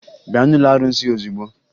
Bịa n'ụlọ arụsị ozugbo!